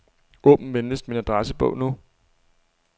Åbn venligst min adressebog nu.